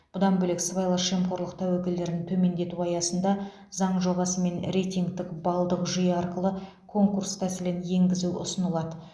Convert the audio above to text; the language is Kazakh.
бұдан бөлек сыбайлас жемқорлық тәуекелдерін төмендету аясында заң жобасымен рейтингтік балдық жүйе арқылы конкурс тәсілін енгізу ұсынылады